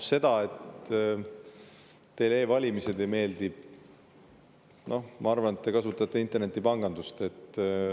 Teile e-valimised ei meeldi, aga noh, ma arvan, et internetipangandust te kasutate.